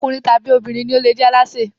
Ọkùnrin tàbí obìnrin ni ó le jẹ alásè.